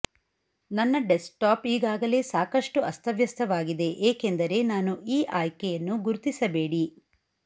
ನನ್ನ ಡೆಸ್ಕ್ಟಾಪ್ ಈಗಾಗಲೇ ಸಾಕಷ್ಟು ಅಸ್ತವ್ಯಸ್ತವಾಗಿದೆ ಏಕೆಂದರೆ ನಾನು ಈ ಆಯ್ಕೆಯನ್ನು ಗುರುತಿಸಬೇಡಿ